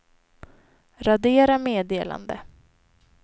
radera meddelande